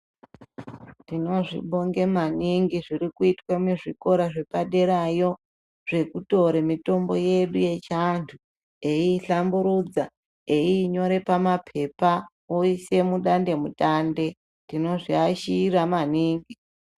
Tinozvibonga maningi zviri kuitwa muzvikora zvepaderayo zvekutora mitombo yedu yechiantu eiihlamburudza. Einyora pamapepa oisa mudande mutande. Tinozviashira maningi.